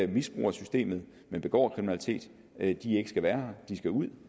misbruger systemet begår kriminalitet ikke skal være her de skal ud